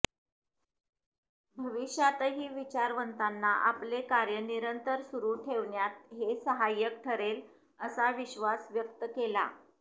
भविष्यातही विचारवंतांना आपले कार्य निरंतर सुरू ठेवण्यात हे सहाय्यक ठरेल असा विश्वास व्यक्त केला